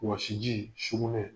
Wasiji ,sugunɛ